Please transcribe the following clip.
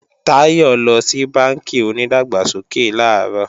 Táyọ̀ lọ sí bánkì onídàgbàsókè làárọ̀